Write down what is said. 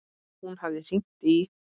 Hún hafði hringt í